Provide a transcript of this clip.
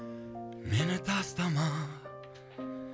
мені тастама